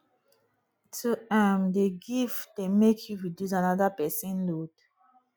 to um dey give dey make you reduce anoda pesin load